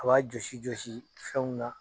A b'a jɔsi jɔsi fɛnw na.